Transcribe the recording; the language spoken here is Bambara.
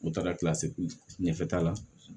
N bɛ taga kilasi ɲɛfɛ ta la